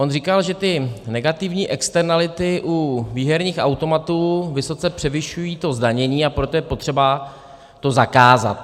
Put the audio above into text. On říkal, že ty negativní externality u výherních automatů vysoce převyšují to zdanění, a proto je potřeba to zakázat.